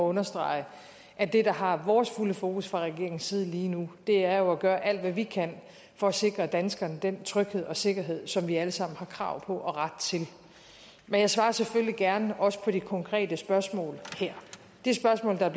understrege at det der har vores fulde fokus fra regeringens side lige nu er at gøre alt hvad vi kan for at sikre danskerne den tryghed og sikkerhed som vi alle sammen har krav på og ret til men jeg svarer selvfølgelig gerne også på det konkrete spørgsmål her det spørgsmål der